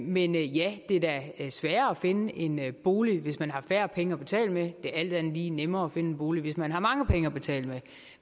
men ja det er da sværere at finde en bolig hvis man har færre penge at betale med det er alt andet lige nemmere at finde en bolig hvis man har mange penge at betale med